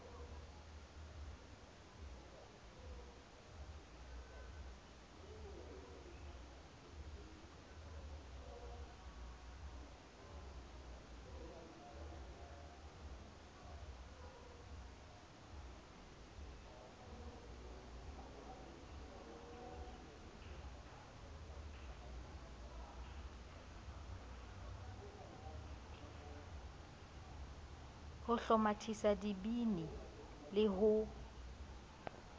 ho hlomathisa dibili le ho